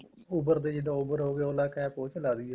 Uber ਦੇ ਜਿੱਦਾਂ Uber ਹੋਗਿਆ OLA CAB ਉਸ ਚ ਲਾ ਲਈਏ